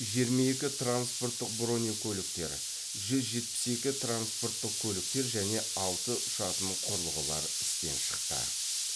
жиырма екі транспорттық бронекөліктер жүз жетпіс екі транспорттық көліктер және алты ұшатын құрылғылар істен шықты